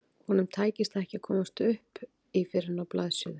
Honum tækist ekki að komast upp í fyrr en á blaðsíðu